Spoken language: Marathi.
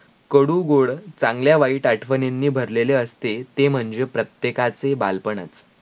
कडू गोड चांगल्या वाईट आठवणीं भरलेले असते ते महणजे प्रत्येकाचे बालपणच